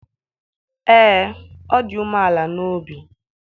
ee, ọ dị umeala n'obi